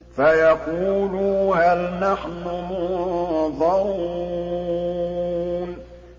فَيَقُولُوا هَلْ نَحْنُ مُنظَرُونَ